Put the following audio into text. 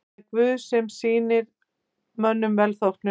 Það er Guð sem sýnir mönnum velþóknun.